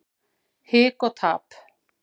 Hik og tap.